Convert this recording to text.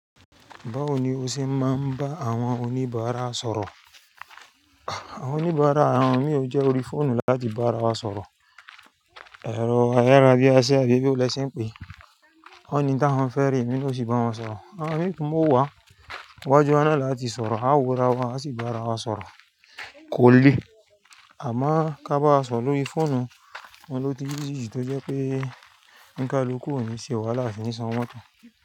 Báwo ni o ṣe máa ń bá àwọn oníbàárà sọ̀rọ̀? Àwọn oníbàárà àwọn mi ò jẹ́ orí fóònù láti bá arawa sọ̀rọ̀. Ẹ̀rọ ayárabíásí àbí bo lè ṣe ń pè é, wón ni ntí awon ń fẹ́ re emí na o sì bá wọn sọ̀rọ̀. Àwọn mi tún mú wá wájú wa ọ̀nà láti sọ̀rọ̀, a ó wọ ara wa, a sì ba ara wa sọ̀rọ̀. Kò le, àmọ́ ká bá arawa sọro lórí fóònù, ọun ló tun easy ju tó jẹ́ pé ǹka luku ò ní ṣe e wáhalá asi ni san owọ́ moto.